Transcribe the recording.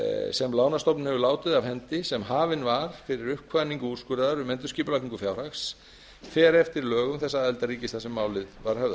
sem lánastofnun hefur látið af hendi sem hafin var fyrir uppkvaðningu úrskurðar um endurskipulagningu fjárhags fer eftir lögum þess aðildarríkis þar sem málið var höfðað